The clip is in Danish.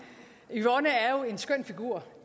yvonne er jo en skøn figur